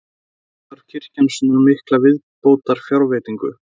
Af hverju þarf kirkjan svona mikla viðbótarfjárveitingu?